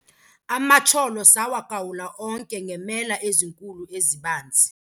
Amatyholo sawagawula onke ngeemela ezinkulu ezibanzi.